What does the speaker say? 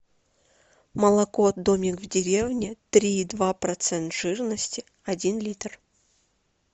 молок домик в деревне три и два процента жирности один литр